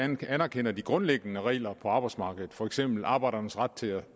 anerkender de grundlæggende regler på arbejdsmarkedet for eksempel arbejdernes ret til at